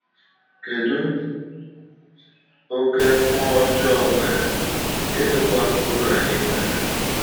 Kedu oke mmụọ ọjọọ nwere, gịnịkwa uru anyị nwere?